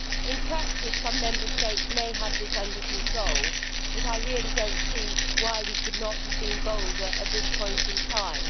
In practice, some Member States may have this under control, but I really do not see why we could not have been bolder at this point in time.